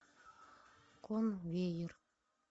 конвейер